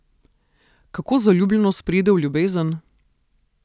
Kako zaljubljenost preide v ljubezen?